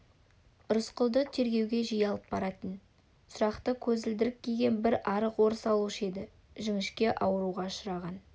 рысқұлды тергеуге жиі алып баратын сұрақты көзілдірік киген бір арық орыс алушы еді жіңішке ауруға ұшыраған